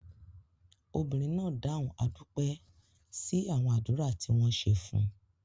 Obìnrin náà dáhùn "a dúpẹ́" sí àwọn àdúrà tí wọ́n ṣe fún.